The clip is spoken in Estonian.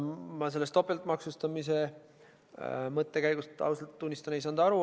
Ma sellest topeltmaksustamise mõttekäigust, ausalt tunnistan, ei saanud aru.